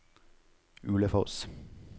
Ulefoss